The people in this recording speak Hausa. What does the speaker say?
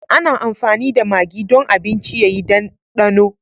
Ana amfani da magi don abinci ya yi ɗandano.